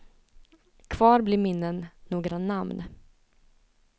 Kvar blir minnen, några namn.